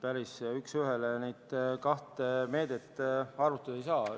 Päris üks ühele neid kahte meedet võrrelda ei saa.